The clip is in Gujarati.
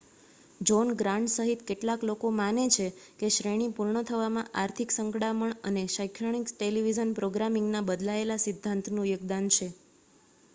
જૉહ્ન ગ્રાન્ટ સહિત કેટલાક લોકો માને છે કે શ્રેણી પૂર્ણ થવામાં આર્થિક સંકડામણ અને શૈક્ષણિક ટેલિવિઝન પ્રોગ્રામિંગના બદલાયેલા સિદ્ધાંતનું યોગદાન છે